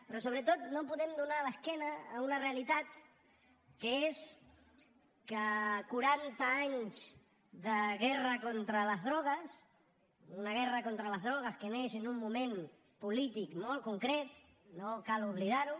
però sobretot no podem donar l’esquena a una realitat que és que quaranta anys de guerra contra les drogues d’una guerra contra les drogues que neix en un moment polític molt concret cal no oblidar ho